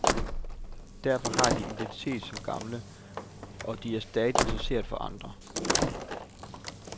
Derfor har de en identitet som gamle, og de er stadig interessante for andre.